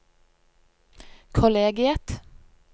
kollegiet